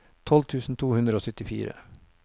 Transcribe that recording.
tolv tusen to hundre og syttifire